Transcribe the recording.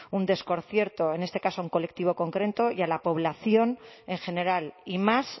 un desconcierto en este caso a un colectivo concreto y a la población en general y más